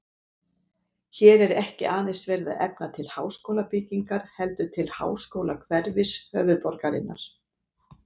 Hér er ekki aðeins verið að efna til háskólabyggingar heldur til háskólahverfis höfuðborgarinnar.